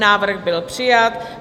Návrh byl přijat.